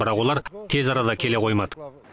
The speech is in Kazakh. бірақ олар тез арада келе қоймады